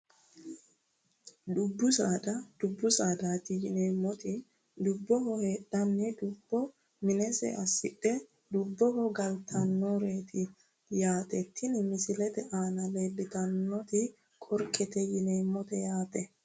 Dubbu saada dubbu saadaati yineemmoti dubboho heedhe dubbo minensa assidhe dubboho galtannoreeti yaate tini misilete aana leeltannoti qorkete yineemmote yaate